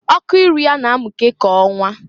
Ọkụ iru ya na amụke ka ọnwa.